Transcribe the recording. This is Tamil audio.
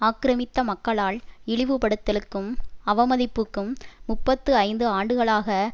ஆக்கிரமித்த மக்களால் இழிவுபடுத்தலுக்கும் அவமதிப்புக்கும் முப்பத்தி ஐந்து ஆண்டுகளாக